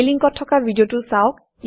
এই লিংকত থকা ভিডিঅটো চাওক